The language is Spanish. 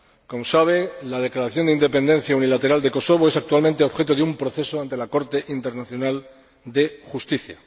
Como sabe, la declaración de independencia unilateral de Kosovo es actualmente objeto de un proceso ante la Corte Internacional de Justicia.